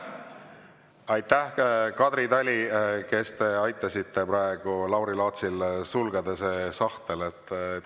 Aitäh, Kadri Tali, kes te aitasite praegu Lauri Laatsil selle sahtli sulgeda!